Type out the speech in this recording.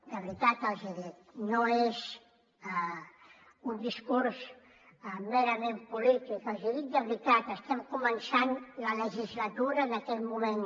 de veritat els hi dic no és un discurs merament polític els hi dic de veritat estem començant la legislatura en aquest moment